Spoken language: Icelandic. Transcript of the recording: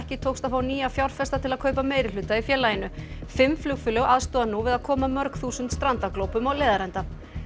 tókst að fá nýja fjárfesta til að kaupa meirihluta í félaginu fimm flugfélög aðstoða nú við að koma mörg þúsund strandaglópum á leiðarenda